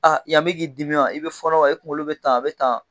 yan bɛ k'i dimi wa ? I bɛ fɔnɔ wa ? I kunkolo bɛ tan, a bɛ tan?